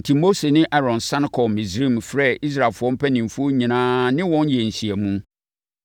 Enti, Mose ne Aaron sane kɔɔ Misraim frɛɛ Israelfoɔ mpanimfoɔ nyinaa ne wɔn yɛɛ nhyiamu.